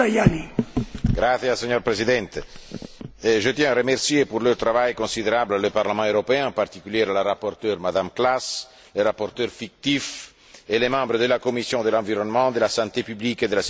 Monsieur le Président, je tiens à remercier, pour leur travail considérable, le Parlement européen et en particulier la rapporteure, Mme Klass, les rapporteurs fictifs et les membres de la commission de l'environnement, de la santé publique et de la sécurité alimentaire.